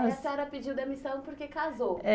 Aí a senhora pediu demissão porque casou. É